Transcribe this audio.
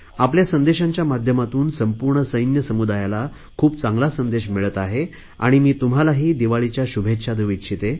आपल्या संदेशांच्या माध्यमातून संपूर्ण सैन्य समुदायाला खूप चांगला संदेश मिळत आहे आणि मी तुम्हालाही दिवाळीच्या शुभेच्छा देऊ इच्छिते